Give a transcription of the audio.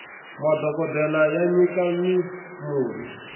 madhokodele ya nyika mi murhi